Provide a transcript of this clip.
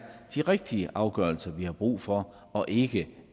de rigtige afgørelser vi har brug for og ikke